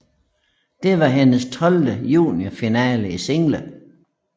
Det var hendes tolvte juniorfinale i single